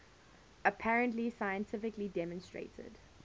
apparently scientifically demonstrated